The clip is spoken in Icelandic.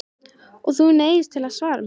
Og þú neyðist til að svara mér.